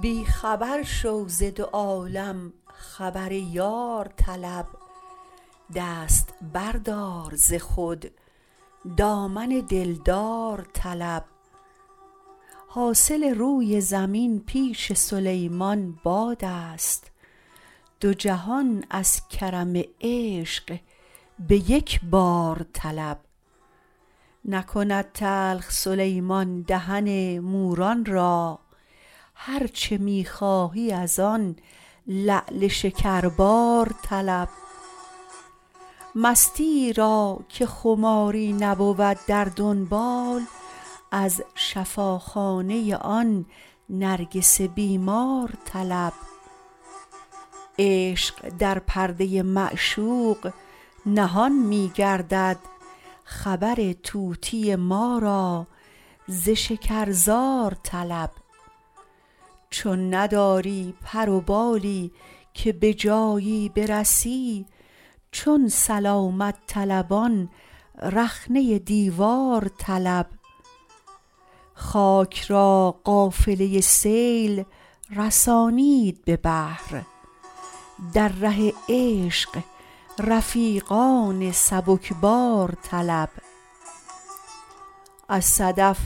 بی خبر شو ز دو عالم خبر یار طلب دست بردار ز خود دامن دلدار طلب حاصل روی زمین پیش سلیمان بادست دو جهان از کرم عشق به یکبار طلب نکند تلخ سلیمان دهن موران را هر چه می خواهی ازان لعل شکربار طلب مستیی را که خماری نبود در دنبال از شفاخانه آن نرگس بیمار طلب عشق در پرده معشوق نهان می گردد خبر طوطی ما را ز شکرزار طلب چون نداری پر و بالی که به جایی برسی چون سلامت طلبان رخنه دیوار طلب خاک را قافله سیل رسانید به بحر در ره عشق رفیقان سبکبار طلب از صدف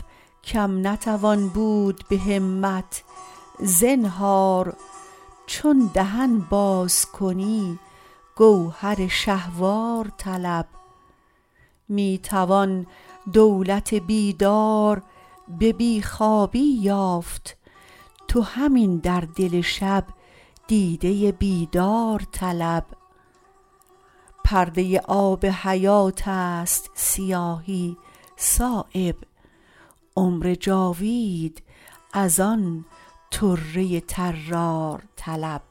کم نتوان بود به همت زنهار چون دهن باز کنی گوهر شهوار طلب می توان دولت بیدار به بی خوابی یافت تو همین در دل شب دیده بیدار طلب پرده آب حیات است سیاهی صایب عمر جاوید ازان طره طرار طلب